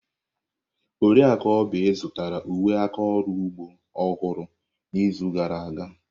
Oriakụ Oby zụtara uwe aka ọrụ ugbo ọhụrụ n'izu gara aga.